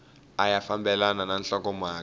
a ya fambelani na nhlokomhaka